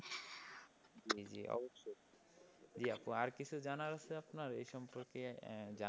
অবশ্যই। জি আপু আর কিছু জানার আছে আপনার এ সম্পর্কে জানতে?